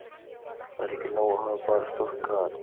Það er ekki nóg að hafa bara stórt gat